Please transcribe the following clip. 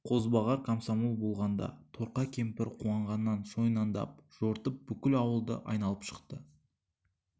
қозбағар комсомол болғанда торқа кемпір қуанғаннан шойнаңдап жортып бүкіл ауылды айналып шықты